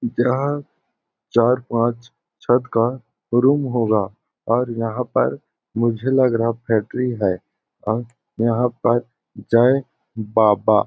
यहाँ चार पांच छत का रूम होगा और यहाँ पर मुझे लग रहा फैक्टरी है और यह पर जय बाबा--